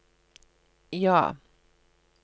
ja